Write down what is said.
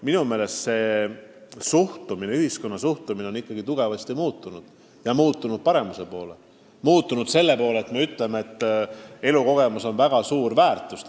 Minu meelest on ühiskonna suhtumine ikkagi tugevasti paremaks muutunud ja on hakatud arvama, et elukogemus on tegelikult väga suur väärtus.